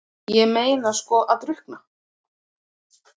Ég meina sko að drukkna?